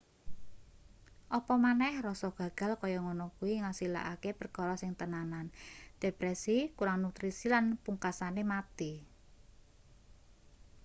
apa maneh rasa gagal kaya ngono kuwi ngasilake perkara sing tenanan depresi kurang nutrisi lan pungksane mati